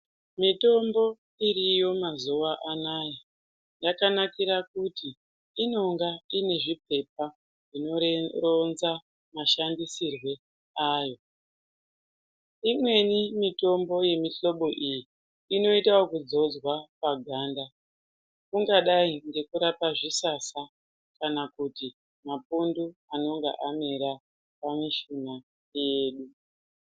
Mitombo iriyo mazuwa anaya yakanakira kuti inonga ine zvipepa zvinoronza mashandisirwe ayo, imweni mitombo yemihlobo iyi inoitwa ekuzodza paganda kungadai ngekurapa zvisasa kana mapundu anonga amera pamishuna yedu.